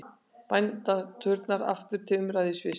Bænaturnar aftur til umræðu í Sviss